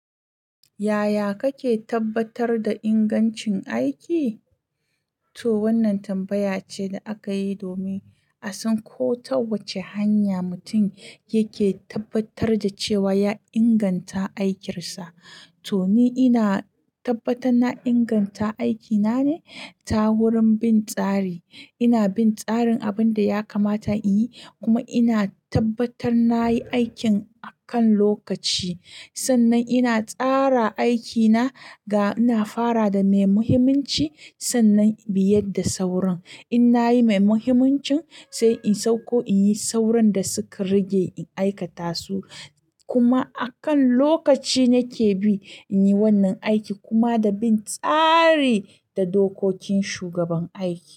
Yaya kake tabbatar da ingancin aiki? To wannan tambaya ce da aka yi domin a san ko ta wace hanya mutum yake tabbatar da cewa ya inganta aikinsa. To ni ina tabbatar na inganta aikina ne ta wurin bin tsari. Ina bin tsarin abin da ya kamata in yi kuma ina tabbatar na yi aikin a kan lokaci. Sannan ina tsara aikina ga ina fara da mai muhimmanci sannan in biyar da sauran. In na yi mai muhimmancin sai in sauko in yi sauran da suka rage in aikata su kuma a kan lokaci nake bi in yi wannan aiki kuma da bin tsari da dokokin shugaban aiki.